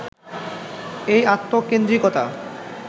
এই আত্মকেন্দ্রিকতা